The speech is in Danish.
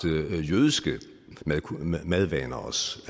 jødiske madvaner